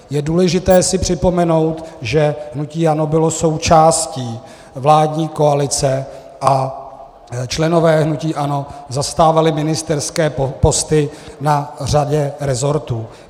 Je důležité si připomenout, že hnutí ANO bylo součástí vládní koalice a členové hnutí ANO zastávali ministerské posty na řadě rezortů.